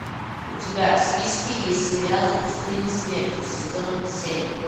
у тебя в списке есть сериал в пустыне смерти сезон семь